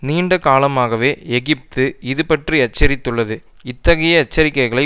நீண்ட காலமாகவே எகிப்து இது பற்றி எச்சரித்துள்ளது இத்தகைய எச்சரிக்கைகளை